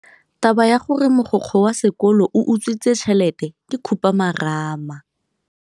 Taba ya gore mogokgo wa sekolo o utswitse tšhelete ke khupamarama.